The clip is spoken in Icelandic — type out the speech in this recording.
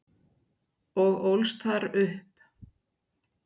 og ólst þar upp.